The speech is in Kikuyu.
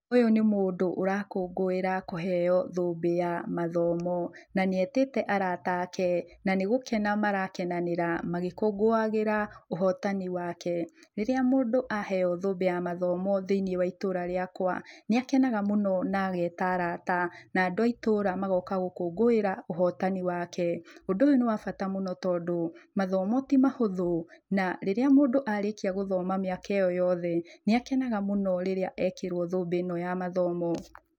Ũyũ nĩ mũndũ ũrakũngũĩra kũheo thũmbĩ ya mathomo. Na nĩetĩte arata ake, na nĩgũkena marakenanĩra magĩkũngũagĩra ũhotani wake. Rĩrĩa mũndũ aheo thũmbĩ ya mathomo thĩiniĩ wa itũra rĩakwa, nĩakenaga mũno na ageta arata, na andũ a itũra magoka gũkũngũĩra ũhotani wake. Ũndũ ũyũ nĩ wa bata mũno tondũ, mathomo ti mahũthũ. Na rĩrĩa mũndũ arĩkia gũthoma mĩaka ĩyo yothe, nĩakenaga mũno rĩrĩa ekĩrũo thũmbĩ ĩno ya mathomo.